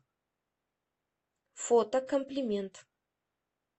фото комплимент